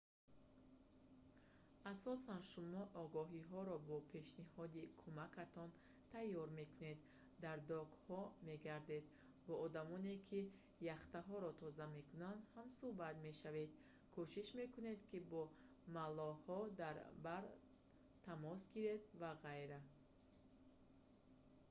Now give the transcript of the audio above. асосан шумо огоҳиҳоро бо пешниҳоди кумакатон тайёр мекунед дар докҳо мегардед бо одамоне ки яхтаҳоро тоза мекунанд ҳамсуҳбат мешавед кушиш мекунед ки бо маллоҳон дар бар тамос гиред ва ғайра